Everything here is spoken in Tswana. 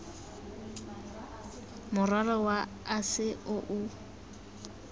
morwalo wa ase o o